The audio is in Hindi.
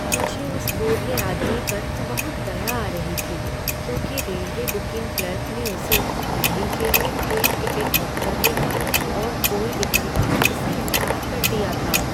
मुझे उस बूढ़े आदमी पर बहुत दया आ रही थी क्योंकि रेलवे बुकिंग क्लर्क ने उसे दिल्ली के लिए ट्रेन टिकट बुक करने का और कोई विकल्प देने से इनकार कर दिया था।